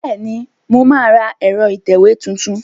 Bẹ́ẹ̀ni, mà á ra ẹ̀rọ ìtẹ̀wé tuntun